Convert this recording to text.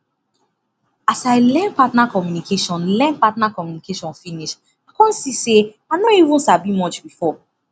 as i learn partner communication learn partner communication finish i come see say i no even sabi much before